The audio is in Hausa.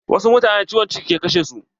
Wasu mutanen ciwon ciki ke kashe su.